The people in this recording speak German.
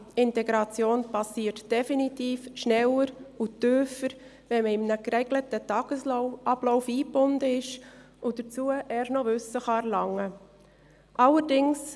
Integration geschieht definitiv schneller und tiefer, wenn man in einen geregelten Tagesablauf eingebunden ist und dazu erst noch Wissen erlangen kann.